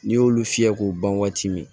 N'i y'olu fiyɛ k'u ban waati min